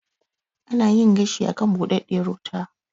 Ana yin gashi a kan buɗaɗɗiyar wuta.